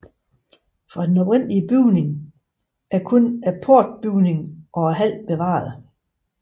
Fra den oprindelige bygning er kun portbygningen og hallen bevaret